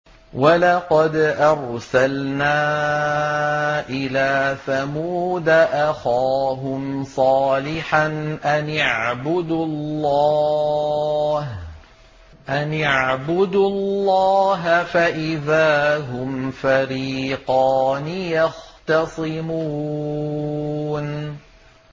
وَلَقَدْ أَرْسَلْنَا إِلَىٰ ثَمُودَ أَخَاهُمْ صَالِحًا أَنِ اعْبُدُوا اللَّهَ فَإِذَا هُمْ فَرِيقَانِ يَخْتَصِمُونَ